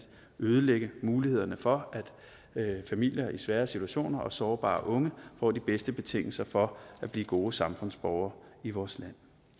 ødelægge mulighederne for familier i svære situationer og for at sårbare unge får de bedste betingelser for at blive gode samfundsborgere i vores